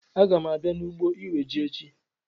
Aga m abịa n'ugbo iwe ji echi